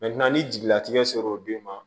ni jigilatigɛ sera o den ma